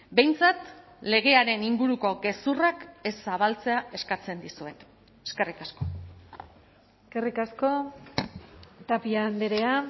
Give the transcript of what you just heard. behintzat legearen inguruko gezurrak ez zabaltzea eskatzen dizuet eskerrik asko eskerrik asko tapia andrea